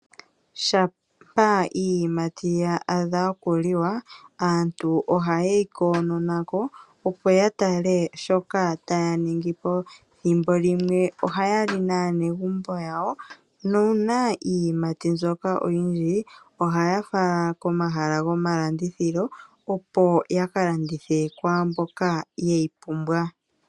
Shampa iiyimati ya adha okuliwa, aantu oha ye yi koonona ko opo ya tale shoka taya ningi po. Thimbo limwe ohaya li naanegumbo yawo, nuuna iiyimati mbyoka oyindji ohaya fala komahala gomalandithilo opo ya ka landithe kwaamboka ye yi pumbwa.